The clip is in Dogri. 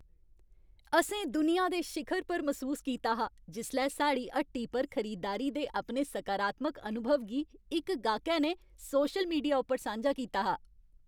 असें दुनिया दे शिखर पर मसूस कीता हा जिसलै साढ़ी हट्टी पर खरीदारी दे अपने सकारात्मक अनुभव गी इक गाह्कै ने सोशल मीडिया उप्पर सांझा कीता हा।